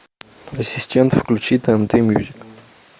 ассистент включи тнт мьюзик